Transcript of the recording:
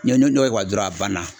Ni ni n'o y'o kɛ ka ban dɔrɔn a banna